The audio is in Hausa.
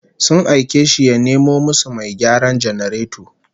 Sun aike shi ya nemo musu mai gyaran janareto